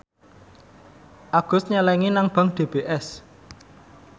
Agus nyelengi nang bank DBS